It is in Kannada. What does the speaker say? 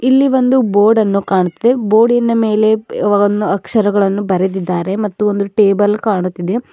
ಇಲ್ಲಿ ಒಂದು ಬೋರ್ಡನ್ನು ಕಾಣ್ತದೆ ಬೋಡಿನ ಮೇಲೆ ಬೆ ವನ್ ಅಕ್ಷರಗಳನ್ನು ಬರೆದಿದ್ದಾರೆ ಮತ್ತು ಒಂದು ಟೇಬಲ್ ಕಾಣುತ್ತಿದೆ.